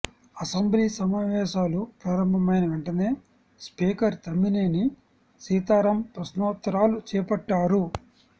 assembly సమావేశాలు ప్రారంభమైన వెంటనే స్పీకర్ తమ్మినేని సీతారాం ప్రశ్నోత్తరాలు చేపట్టారు